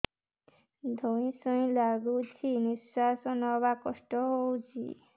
ଧଇଁ ସଇଁ ଲାଗୁଛି ନିଃଶ୍ୱାସ ନବା କଷ୍ଟ ହଉଚି